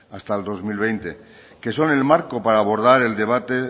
hasta el dos mil veinte que son el marco para abordar el debate